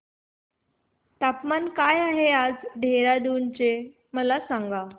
तापमान काय आहे आज देहराडून चे मला सांगा